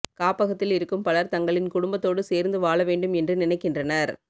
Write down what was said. காப்பகத்தில் இருக்கும் பலர் தங்களின் குடும்பத்தோடு சேர்ந்து வாழ வேண்டும் என்று நினைக்கின்றனர்